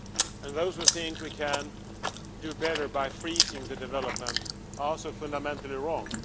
And those who think we can do better by freezing development are also fundamentally wrong.